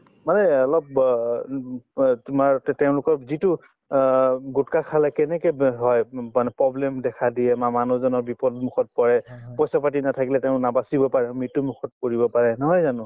মানে অ অলপ ব উম অ তোমাৰ তে তেওঁলোক যিটো অ গুটকা খালে কেনেকে ব্য হয় মানে problem দেখা দিয়ে বা মানুহজনক বিপদ মুখত পৰে পইচা পাতি নাথাকিলে তেওঁ নাবাচি পাৰে মৃত্যুমুখত পৰিব পাৰে নহয় জানো